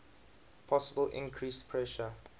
possible increased pressure